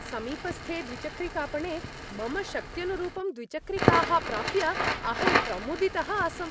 समीपस्थे द्विचक्रिकापणे मम शक्त्यनुरूपं द्विचक्रिकाः प्राप्य अहं प्रमुदितः आसम्।